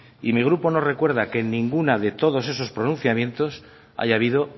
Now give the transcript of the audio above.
y mi grupo no recuerda que en ninguna de todos esos pronunciamientos haya habido